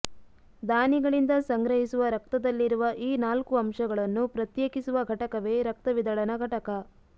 ದಾನಿಗಳಿಂದ ಸಂಗ್ರಹಿಸುವ ರಕ್ತದಲ್ಲಿರುವ ಈ ನಾಲ್ಕು ಅಂಶಗಳನ್ನು ಪ್ರತ್ಯೇಕಿಸುವ ಘಟಕವೇ ರಕ್ತ ವಿದಳನ ಘಟಕ